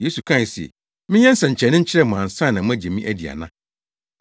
Yesu kae se, “Menyɛ nsɛnkyerɛnne nkyerɛ mo ansa na moagye me adi ana?”